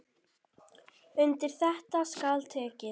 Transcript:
Undir þetta skal tekið.